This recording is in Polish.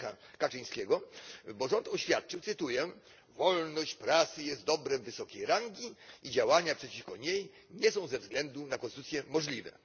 Lecha Kaczyńskiego, bo rząd oświadczył cytuję wolność prasy jest dobrem wysokiej rangi i działania przeciwko niej nie są ze względu na konstytucję możliwe.